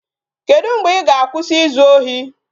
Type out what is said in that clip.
Kedu mgbe I ga-akwụsị izu ohi?